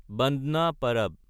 বান্দনা পাৰাব